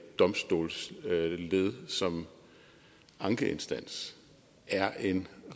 domstolsled som ankeinstans er en